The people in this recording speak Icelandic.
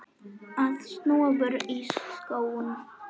Að snúa vörn í sókn.